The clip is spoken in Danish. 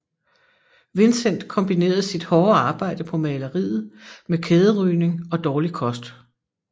Vincent kombinerede sit hårde arbejde på maleriet med kæderygning og dårlig kost